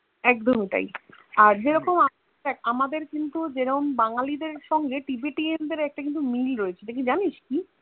একদমই তাই আর যেরকম আমাদের কিন্তু জেরোম বাঙালি দেড় সঙ্গে Tibetian দেড় সাথে একটা মিল রয়েছে জানস কি